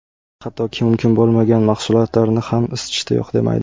Hattoki, mumkin bo‘lmagan mahsulotlarni ham isitishda yo‘q demaydi.